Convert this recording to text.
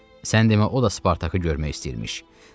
Sən demə o da Spartakı görmək istəyirmiş.